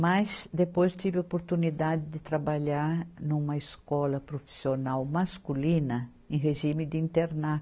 Mas depois tive a oportunidade de trabalhar numa escola profissional masculina em regime de interna.